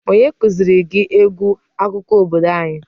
Onye kuziri gị egwu akụkọ obodo anyi?